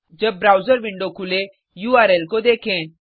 जब browser window खुले URL को देखें